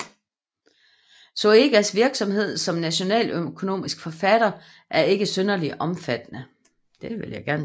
Zoëgas virksomhed som nationaløkonomisk forfatter er ikke synderlig omfattende